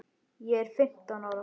Ég er fimmtán ára.